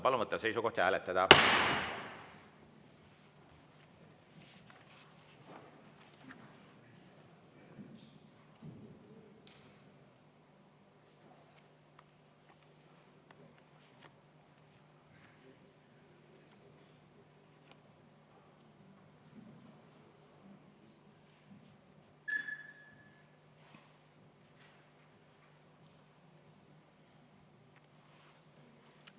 Palun võtta seisukoht ja hääletada!